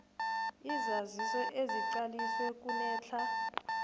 isaziso esiqaliswe kunedlac